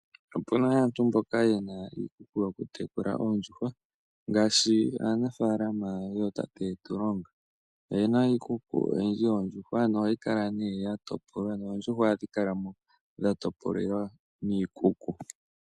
Opu na aantu mboka ye na iikuku yokutekula oondjuhwa ngaashi aanafaalama yootate Tulonga. Oye na iikuku oyindji yoondjuhwa nohayi kala nduno ya topolwa noondjuhwa ohadhi kala mo dha topolelwa miikuku.